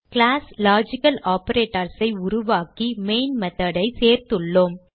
class LogicalOperators ஐ உருவாக்கி main method ஐ சேர்த்துள்ளோம்